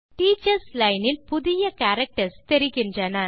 teachers line இல் புதிய characters தெரிகின்றன